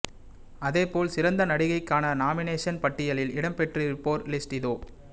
அதே போல் சிறந்த நடிகைக்கான நாமினேஷன் பட்டியலில் இடம் பெற்றிருப்போர் லிஸ்ட் இதோ